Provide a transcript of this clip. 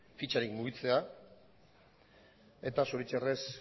fitxarik mugitzea eta zoritxarrez